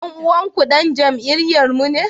Dan uwanku dan jam'iyyarmu ne?